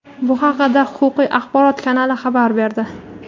Bu haqda "Huquqiy axborot" kanali xabar berdi.